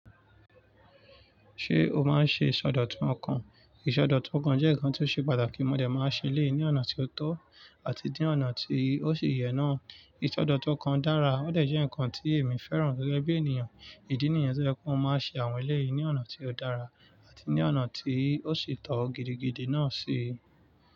Ṣé o máa ń ṣe ìsọdọ̀tun ọkàn? Ìsọdọ̀tun ọkàn jẹ́ nǹkan tí ó ṣe pàtàkì. Mo dẹ̀ máa ń ṣe lé e ní ọ̀nà tí ó tọ́ àti ní ọ̀nà tí ó sì yẹ náà. Ìsọdọ̀tun ọkàn dára ó dẹ̀ jẹ́ ǹkan tí èmi fẹ́ràn gẹ́gẹ́ bí ènìyàn. Ìdí nìyẹn tí ó jẹ́ pé wọn máa ń ṣe àwọn eléyìí ní ọ̀nà tí ó dára àti ní ọ̀nà tí ó sì tọ́ gidigidi náà ṣe.